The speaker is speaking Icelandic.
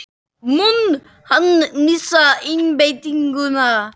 Mun hann missa einbeitinguna?